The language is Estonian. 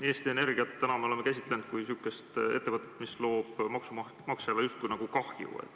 Eesti Energiat me oleme täna käsitlenud kui säärast ettevõtet, mis justkui tekitab maksumaksjale kahju.